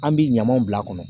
An bɛ ɲamanw bil'a kɔnɔ